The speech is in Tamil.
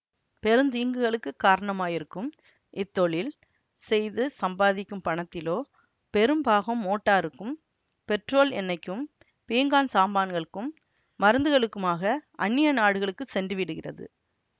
பெருந் தீங்குகளுக்குக் காரணமாயிருக்கும் இத்தொழில் செய்து சம்பாதிக்கும் பணத்திலோ பெரும் பாகம் மோட்டாருக்கும் பெட்ரோல் எண்ணைக்கும் பீங்கான் சாமான்களுக்கும் மருந்துகளுக்குமாக அன்னிய நாடுகளுக்குச் சென்று விடுகிறது